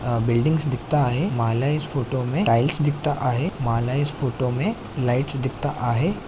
हा बिल्डिंग्स दिखता आहे. माला इस फोटोमे टाइल्स दिखता आहे. माला इस फोटो मे लाइट्स दिखता आहे.